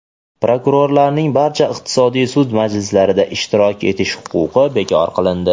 Prokurorlarning barcha iqtisodiy sud majlislarida ishtirok etish huquqi bekor qilindi.